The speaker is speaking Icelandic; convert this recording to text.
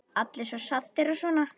Allir svo saddir og svona.